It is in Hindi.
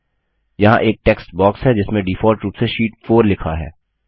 यहाँ एक टेक्स्ट बॉक्स है जिसमें डिफॉल्ट रूप से शीट 4 लिखा है